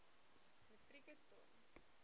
metrieke ton